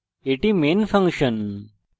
এটি main function